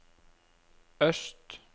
øst